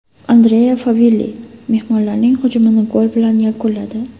Andrea Favilli mehmonlarning hujumini gol bilan yakunladi.